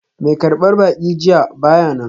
Mai karbar baki jiya ba ya nan.